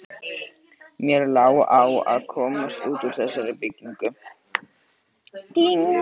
Mér lá á að komast út úr þessari byggingu.